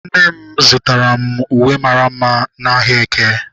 Nne m zụtara m uwe mara mma n'ahịa eke.